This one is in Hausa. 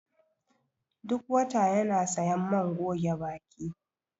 Duk wata yana siyan man goge baki